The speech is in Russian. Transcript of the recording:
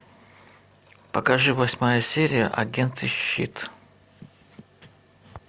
покажи восьмая серия агенты щит